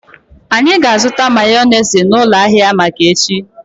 Anyi ga-azụta mayọnesị n'ụlọ ahia Amaka echi.